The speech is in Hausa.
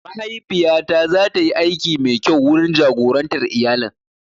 Mahaifiya ta zatayi aiki mai kyau wurin jagorantar iyalin.